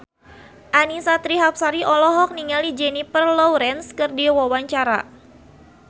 Annisa Trihapsari olohok ningali Jennifer Lawrence keur diwawancara